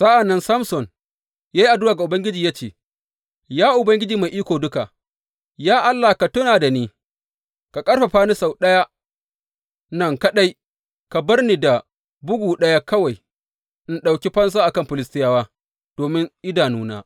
Sa’an nan Samson ya yi addu’a ga Ubangiji ya ce, Ya Ubangiji Mai Iko Duka, ya Allah ka tuna da ni, ka ƙarfafa ni sau ɗaya nan kaɗai, ka bar ni da bugu ɗaya kawai in ɗauki fansa a kan Filistiyawa domin idanuna.